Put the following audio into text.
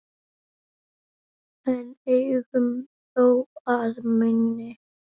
en engum þó að meini